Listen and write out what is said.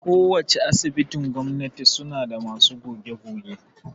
Ko wacce Asibitin gwamnati suna da masu goge-goge